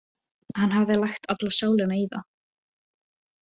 Hann hafði lagt alla sálina í það.